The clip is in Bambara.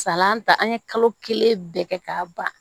Salata an ye kalo kelen bɛɛ kɛ k'a ban